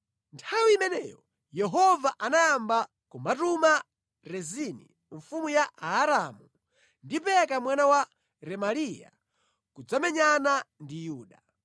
(Nthawi imeneyo, Yehova anayamba kumatuma Rezini mfumu ya Aaramu ndi Peka mwana wa Remaliya kudzamenyana ndi Yuda).